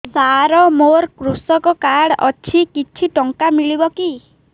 ସାର ମୋର୍ କୃଷକ କାର୍ଡ ଅଛି କିଛି ଟଙ୍କା ମିଳିବ କି